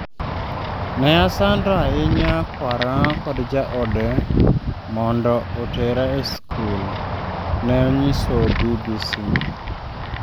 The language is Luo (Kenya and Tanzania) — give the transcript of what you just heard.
Ne asando ahinya kwara kod jaode mondo otera eskul, " ne onyiso BBC